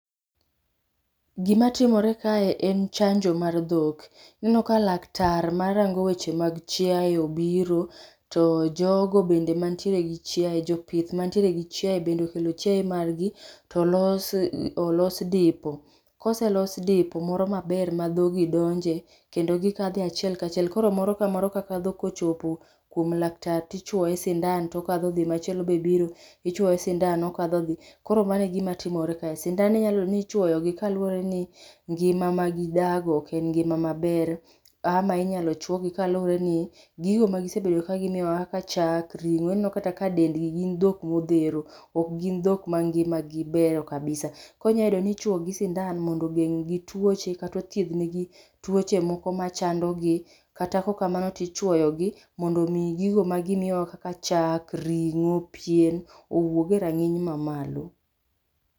Gima timore kae en chanjo mar dhok. Waneno ka laktar marango weche mag chiayo obiro, to jogo bende mantiere gi chiaye, jopith mag gi chiaye bende okelo chiaye margi to olos olos dipo. koselos dipo moro maber ma dhog gi donje kendo gikadhe achiel kachiel koro moro ka moro kadho ka chopo kuom laktar tichuoye sindan tokadho dhi , machielo be biro, ichuoye sindan okadho odhi, koro mano e gima timore kae. Sindan mi inyalo yudo ni ichuoyo gi kaluore gi ngima ma gidago oken ngima maber ama inyalo chuogi kaluore ni gigo ma gisebedo ka gimiyowa kaka chak, ringo, ineno kata ka dendgi, gin dhok modhero, ok gin dhok ma ngimagi beyo kabisa. Koro inya yudo ni ichuogi sindan mondo ogeng gi tuoche kata othiedh negi tuoche machandogi kata kaok kamano to ichuyogi mondo mi gigo ma gimiyo wakaka chak, ringo, pien owuog e ranginy no mamalo